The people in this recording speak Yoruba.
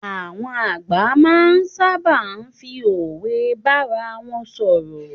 Àwọn àgbà ma sábà fi òwe bárawon sọ̀rọ̀.